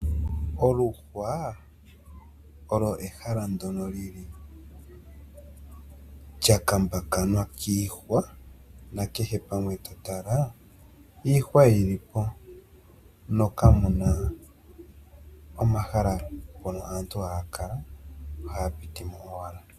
Oluhwa olwo ehala ndyono lyi li lya kambakanwa kiihwa, nakehe pamwe to tala, iihwa yi li po no kamu na oomahala mpono aantu haya kala, ihe ohaya piti mo owala.